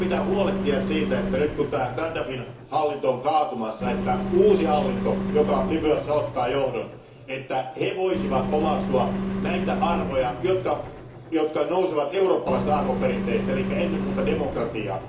Meidän pitää huolehtia siitä, että nyt kun tämä Gaddafin hallinto on kaatumassa, uusi hallinto, joka Libyassa ottaa johdon, voisi omaksua näitä arvoja, jotka nousevat eurooppalaisista arvoperinteistä eli ennen muuta demokratian.